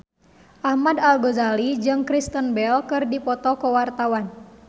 Ahmad Al-Ghazali jeung Kristen Bell keur dipoto ku wartawan